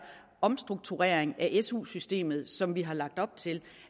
omstrukturering af su systemet som vi har lagt op til